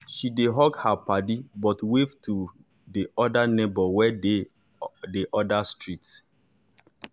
she dey hug her paddy but wave to the to the neighbor wey dey the other street.